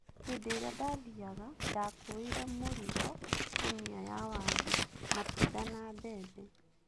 Hĩndĩ ĩrĩa ndathiaga, ndakuuire mũrigo ; ngũnia ya waru, matunda na mbembe.